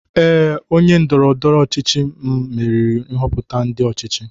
Ee, onye ndoro-ndoro ochichi m meriri nhoputa ndi ochichi.